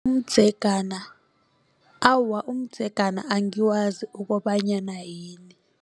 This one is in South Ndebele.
Umdzegana awa umdzegana angiwazi ukobanyana yini.